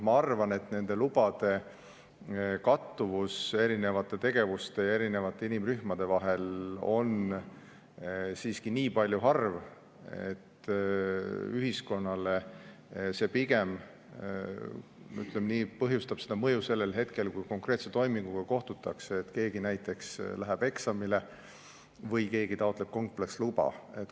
Ma arvan, et nende lubade kattuvus erinevate tegevuste ja inimrühmade vahel on siiski nii harv, et ühiskonnale see pigem, ütleme, avaldab mõju sellel hetkel, kui konkreetse toiminguga kohtutakse, näiteks keegi läheb eksamile või keegi taotleb kompleksluba.